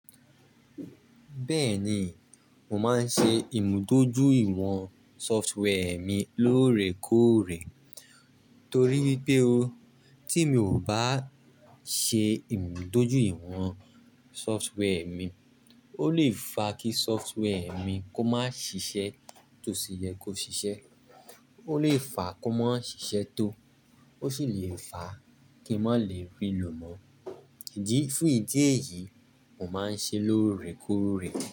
Bẹ́ẹ̀ni, mo máa ń ṣe ìmúdójú iwọ̀n software mi lóòrèkóòrè torí wipé ó, tí mi ò bá ṣe ìmúdójú iwọ̀n software mi, ó lè fa kí software mi kó má ṣiṣẹ́ tó ṣì yẹ kó ṣiṣẹ́. Ó lè fa kó má ṣiṣẹ́ tó, ó sì lè fa kí n má lè rí i lò mọ́. Idi fún ìdí èyí, mo máa ń ṣe lóòrèkóòrè.